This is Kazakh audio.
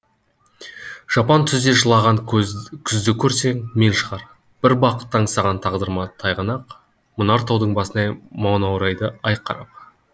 жапан түзде жылаған күзді көрсең мен шығар бір бақытты аңсаған тағдырыма тайғанақ мұнар таудың басынан манаурайды ай қарап